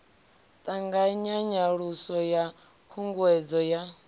ṱanganya nyaluso ya khunguwedzo ya